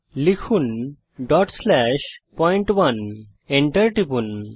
লিখুন point1ডট slash point one Enter টিপুন